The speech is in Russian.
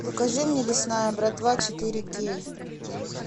покажи мне лесная братва четыре кей